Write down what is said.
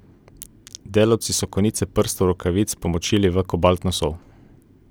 Delavci so konice prstov rokavic pomočili v kobaltno sol.